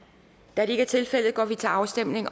da det ikke er tilfældet går vi til afstemning